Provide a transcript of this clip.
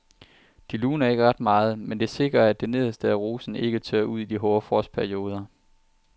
Det luner ikke ret meget, men det sikrer at det nederste af rosen ikke tørrer ud i hårde frostperioder.